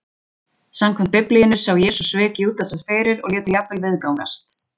Samkvæmt Biblíunni sá Jesús svik Júdasar fyrir, og lét þau jafnvel viðgangast.